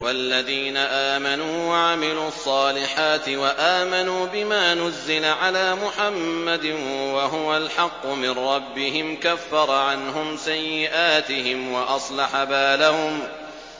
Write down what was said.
وَالَّذِينَ آمَنُوا وَعَمِلُوا الصَّالِحَاتِ وَآمَنُوا بِمَا نُزِّلَ عَلَىٰ مُحَمَّدٍ وَهُوَ الْحَقُّ مِن رَّبِّهِمْ ۙ كَفَّرَ عَنْهُمْ سَيِّئَاتِهِمْ وَأَصْلَحَ بَالَهُمْ